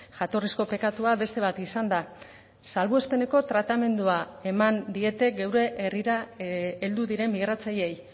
jatorrizko pekatua beste bat izan da salbuespeneko tratamendua eman diete geure herrira heldu diren migratzaileei